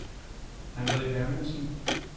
Andre Hermansen